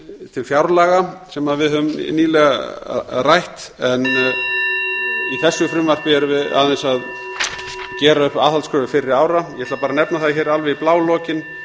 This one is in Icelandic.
til fjárlaga sem við höfum nýlega rætt í þessu frumvarpi erum við aðeins að gera upp aðhaldskröfu fyrri ára ég ætla bara að nefna það hér alveg í blálokin